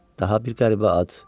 Daha bir qəribə ad.